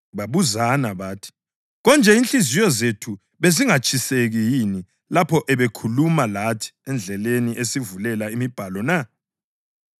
Babuzana bathi, “Konje inhliziyo zethu bezingatshiseki yini lapho abe ekhuluma lathi endleleni esivulela imibhalo na?”